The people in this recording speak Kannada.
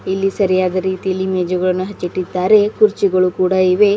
ಇಲ್ಲಿ ಸರಿಯಾದ ರೀತಿಯಲ್ಲಿ ಮೇಜುಗಳನ್ನು ಹಚ್ಚಿಟ್ಟಿದ್ದಾರೆ ಕುರ್ಚಿಗಳು ಕೂಡ ಇವೆ.